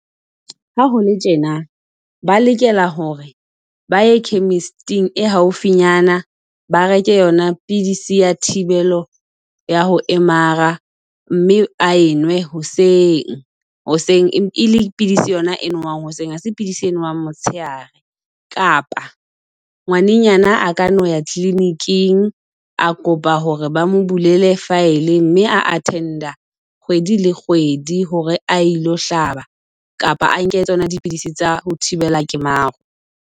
Ha hole tjena ba lokela hore ba ye chemist-ing e haufiyana ba reke yona pidisi ya thibelo ya ho mara, mme a enwe hoseng. Hoseng e le pidisi yona eno hoseng hase pidisi e nowang motshehare. Kapa ngwanenyana a ka no ya kliniking a kopa hore ba mo bulele file, mme a attend-a kgwedi le kgwedi hore a ilo hlaba. Kapa a nke tsona dipidisi tsa ho thibela kemaro.